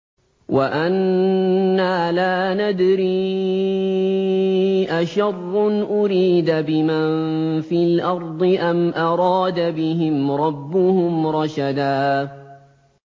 وَأَنَّا لَا نَدْرِي أَشَرٌّ أُرِيدَ بِمَن فِي الْأَرْضِ أَمْ أَرَادَ بِهِمْ رَبُّهُمْ رَشَدًا